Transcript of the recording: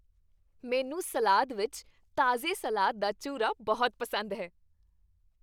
ਮੈਨੂੰ ਸਲਾਦ ਵਿੱਚ ਤਾਜ਼ੇ ਸਲਾਦ ਦਾ ਚੂਰਾ ਬਹੁਤ ਪਸੰਦ ਹੈ।